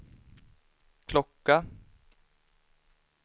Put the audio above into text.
klocka